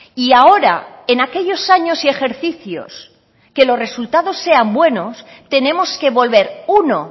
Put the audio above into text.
y ahora en aquellos años y ejercicios que los resultados sean buenos tenemos que volver uno